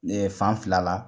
Ne ye fan fila la